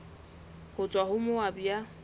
ho tswa ho moabi ya